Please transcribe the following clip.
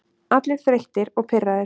Allir þreyttir og pirraðir.